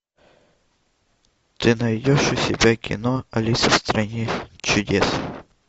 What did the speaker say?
ты найдешь у себя кино алиса в стране чудес